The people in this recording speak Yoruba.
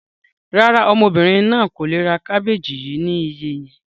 Rárá, ọmọbìnrin náà kò le ra àwọn kábéjì yìí ni iye yẹn.